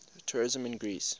tourism in greece